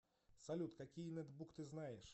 салют какие нетбук ты знаешь